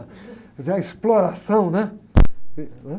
Quer dizer, a exploração, né?